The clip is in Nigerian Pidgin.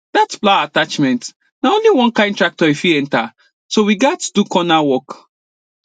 that plow attachment na only one kind tractor e fit enter so we gatz do corner work